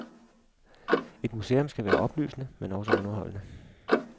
Et museum skal være oplysende, men også underholdende.